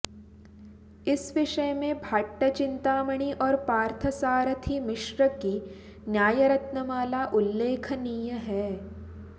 इस विषय में भाट्टचिंतामणि और पार्थसारथि मिश्र की न्यायरत्नमाला उल्लेखनीय है